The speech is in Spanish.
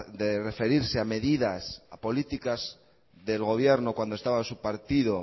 de referirse a medidas políticas del gobierno cuando estaba su partido